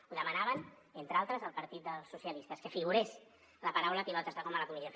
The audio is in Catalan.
ho demanaven entre altres el partit dels socialistes que figurés la paraula pilotes de goma a la comissió